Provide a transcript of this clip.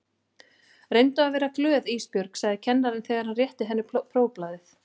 Reyndu að vera glöð Ísbjörg, sagði kennarinn þegar hann rétti henni prófblaðið.